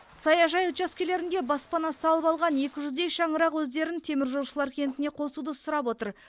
саяжай учаскелерінде баспана салып алған екі жүздей шаңырақ өздерін теміржолшылар кентіне қосуды сұрап отыр